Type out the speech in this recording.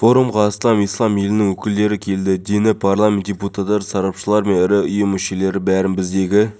айлық жалақысы мың сауд риалы осыған байланысты ислам істері жөніндегі министрлік имам мамандығының атауын уағыз